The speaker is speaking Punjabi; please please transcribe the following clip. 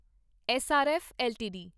SRF LTD